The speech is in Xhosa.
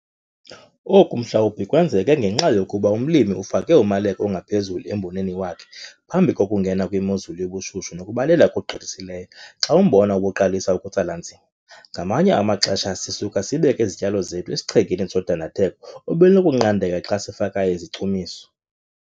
Oku mhlawumbi kwenzeke ngenxa yokuba umlimi ufake umaleko ongaphezulu emboneni wakhe phambi kokungena kwimozulu yobushushu nokubalela okugqithisileyo xa umbona ubuqalisa ukutsala nzima. Ngamanye amaxesha sisuka sibeke izityalo zethu esichengeni sodandatheko obelunokunqandeka xa sifaka izichumiso.